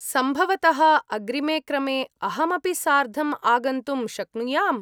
सम्भवतः अग्रिमे क्रमे अहमपि सार्धम् आगन्तुं शक्नुयाम्?